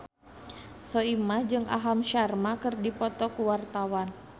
Soimah jeung Aham Sharma keur dipoto ku wartawan